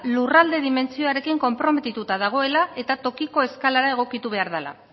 lurralde dimentsioarekin konprometituta dagoela eta tokiko eskalara egokitu behar dela